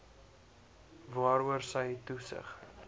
waaroor sy toesig